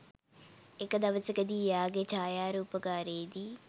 එක දවසකදි එයාගෙ ඡායාරූපගාරයෙදි